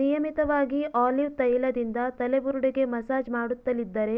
ನಿಯಮಿತವಾಗಿ ಆಲಿವ್ ತೈಲದಿಂದ ತಲೆಬುರುಡೆಗೆ ಮಸಾಜ್ ಮಾಡುತ್ತಲಿದ್ದರೆ